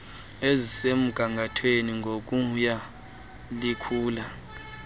ezisemgathweni ngokuya likhula